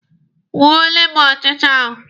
Gbuole m ọchịcha ahụ!